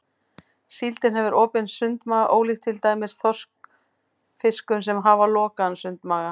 Síldin hefur opinn sundmaga ólíkt til dæmis þorskfiskum sem hafa lokaðan sundmaga.